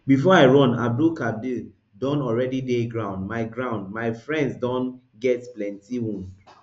before i run abdulkadir don already dey ground my ground my friends don get plenty wound